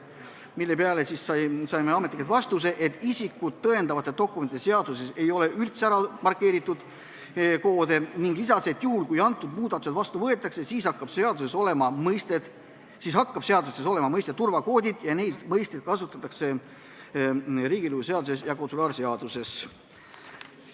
Selle peale saime ametnikelt vastuse, et isikut tõendavate dokumentide seaduses ei ole koode üldse markeeritud, ning lisaks, et juhul kui muudatused vastu võetakse, siis hakkab seaduses olema mõiste "turvakood" ja seda mõistet kasutatakse riigilõivuseaduses ja konsulaarseaduses.